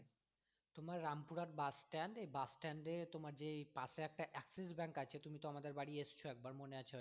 তোমার Rampurhat bus stand এই bus stand তোমার যে পাশে একটা এক্সিস ব্যাঙ্ক আছে তুমি তো আমাদের বাড়ি এসছো একবার মনে আছে হয়তো